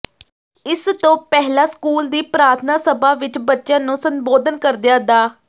ਇਸ ਤੋੱ ਪਹਿਲਾ ਸਕੂਲ ਦੀ ਪ੍ਰਾਰਥਨਾ ਸਭਾ ਵਿੱਚ ਬੱਚਿਆਂ ਨੂੰ ਸੰਬੋਧਨ ਕਰਦਿਆਂ ਡਾ